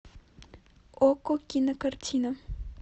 окко кинокартина